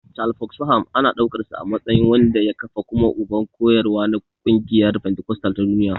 Charles Fox Parham ana ɗaukarsa a matsayin wanda ya kafa kuma uban koyarwa na ƙungiyar fentikostal ta duniya.